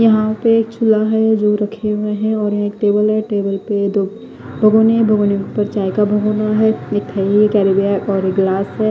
यहा पे एक छुला है दो रखे हुए है और एक टेबल है टेबल पे दो भगोने है भगोने के उपर चाय का भगोना है और एक ग्लास है।